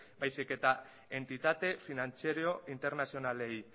baizik eta entitate finantziero internazionalei